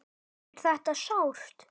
Er þetta sárt?